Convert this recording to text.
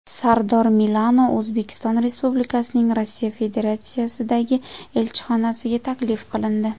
Sardor Milano O‘zbekiston Respublikasining Rossiya Federatsiyasidagi elchixonasiga taklif qilindi.